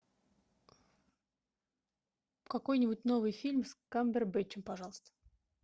какой нибудь новый фильм с камбербэтчем пожалуйста